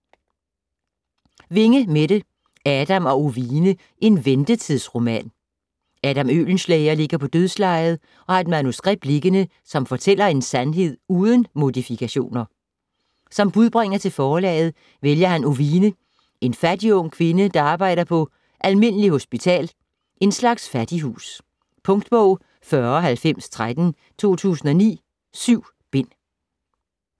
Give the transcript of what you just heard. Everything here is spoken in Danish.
Winge, Mette: Adam og Ovine: en ventetidsroman Adam Oehlenschläger ligger på dødslejet og har et manuskript liggende, som fortæller en sandhed uden modifikationer. Som budbringer til forlaget vælger han Ovine, en fattig ung kvinde, der arbejder på "Almindeligt Hospital" - en slags fattighus. Punktbog 409013 2009. 7 bind.